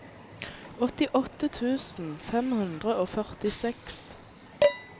åttiåtte tusen fem hundre og førtiseks